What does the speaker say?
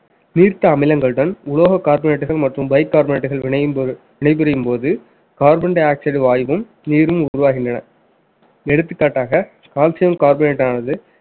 நீர்த்த அமிலங்கள் உடன் உலோக கார்போரேட்டுகள் மற்றும் பைக் கார்போரேட்டுகள் வினை போ~ வினை புரியும்போது carbon dioxide வாயுவும் நீரும் உருவாகின்றன எடுத்துக்காட்டாக calcium bicarbonate ஆனது